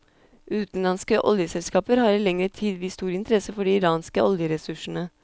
Utenlandske oljeselskaper har i lengre tid vist stor interesse for de iranske oljeressursene.